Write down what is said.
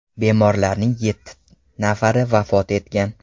Bemorlarning yetti nafari vafot etgan .